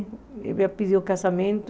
Ele já pediu o casamento.